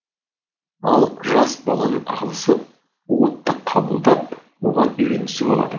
ал жас баланың ағзасы уытты қабылдап оған үйренісіп алады